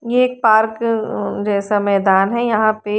ये एक पार्क अ जैसा मैदान है और यहां पे--